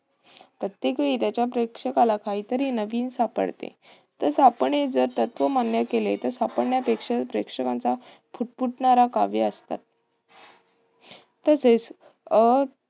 प्रत्येकवेळी त्याच्या प्रेक्षकाला काहीतरी नवीन सापडते. तर सापडणे हे तत्व मान्य केले. तर सापडण्यापेक्षा प्रेक्षकांचा फुटफुटणारा काव्यं असतात. तसेच अं